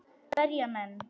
Berja menn.?